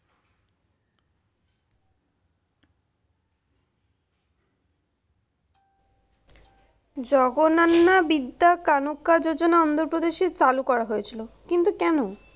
জগনান্নাবিদ্যাকানোকাযোজনা প্রদেশী চালু করা হয়েছিল। কিন্তু কেন?